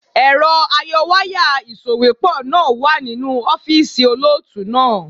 Èrọ ayọwáyà ìsòwépọ̀ náà wà nínú ọ́fíìsì olóòtú náà.